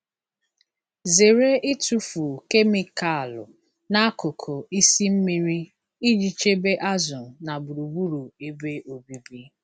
Zere ịtụfu kemịkalụ n'akụkụ isi mmiri iji chebe azụ na gburugburu ebe obibi.